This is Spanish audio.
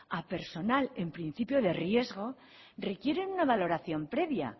a personal en principio de riesgo requieren una valoración previa